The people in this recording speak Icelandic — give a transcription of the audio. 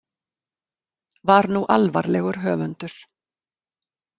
Var nú alvarlegur höfundur.